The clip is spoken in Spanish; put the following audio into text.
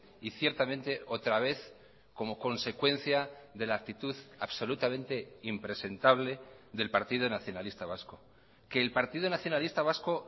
y ciertamente otra vez como consecuencia de la actitud absolutamente impresentable del partido nacionalista vasco que el partido nacionalista vasco